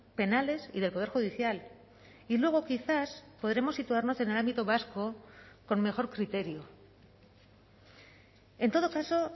penales y del poder judicial y luego quizás podremos situarnos en el ámbito vasco con mejor criterio en todo caso